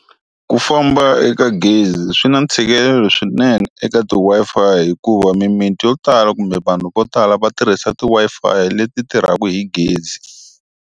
Ku famba eka gezi swi na ntshikelelo swinene eka ti Wi-Fi hikuva mimiti yo tala kumbe vanhu vo tala va tirhisa ti Wi-Fi leti tirhaku hi gezi.